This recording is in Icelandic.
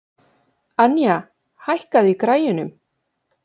Anja, hækkaðu í græjunum.